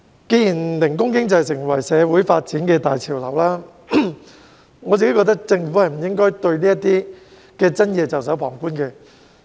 既然零工經濟成為社會發展的大潮流，我個人認為政府不應對這些爭議袖手旁觀。